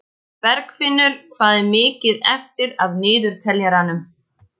Bergfinnur, hvað er mikið eftir af niðurteljaranum?